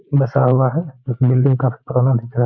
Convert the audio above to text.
बसा हुआ है। बिल्डिंग काफी पुराना दिख रहा है।